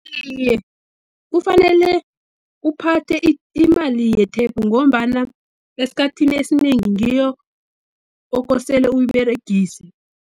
Iye, kufanele uphathe imali yethepu ngombana esikhathini esinengi ngiyo okosele uyiberegise.